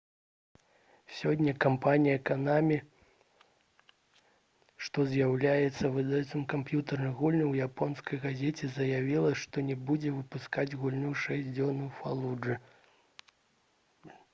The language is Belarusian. сёння кампанія «канамі» што з'яўляецца выдаўцом камп'ютэрных гульняў у японскай газеце заявіла што не будзе выпускаць гульню «шэсць дзён у фалуджы»